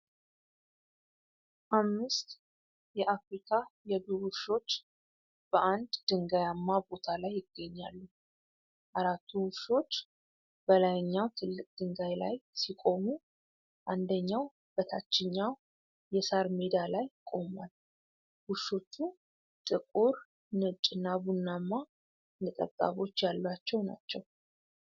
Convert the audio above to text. አምስት የአፍሪካ የዱር ውሾች በአንድ ድንጋያማ ቦታ ላይ ይገኛሉ። አራቱ ውሾች በላይኛው ትልቅ ድንጋይ ላይ ሲቆሙ፣ አንደኛው በታችኛው የሳር ሜዳ ላይ ቆሟል። ውሾቹ ጥቁር፣ ነጭና ቡናማ ነጠብጣቦች ያሏቸው ናቸው።